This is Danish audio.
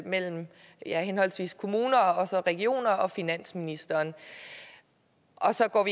mellem henholdsvis kommunerne og regionerne og finansministeren og så går